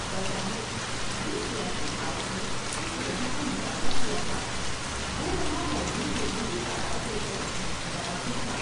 بظاہر جس سیاسی قائد نے اس ریلی کا مطالبہ کیا تھا وہ وہاں موجود لوگوں کی تعداد دیکھ کر بڑا خوش تھا۔